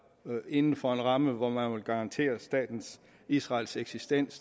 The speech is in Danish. inden for en ramme hvor man vil garantere staten israels eksistens